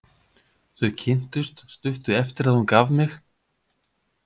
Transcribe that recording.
Þau kynntust stuttu eftir að hún gaf mig.